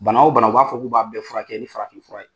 Bana o bana u b'a fɔ k'u b'a bɛɛ furakɛ ni farafinfura ye